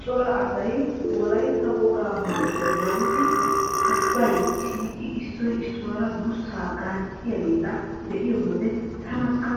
Cora asay wolaytta wogaa maayuwa maayidi uppay shiiqidi issoy issuwara durssaa gaacciyageeta be'iyo wode tanakka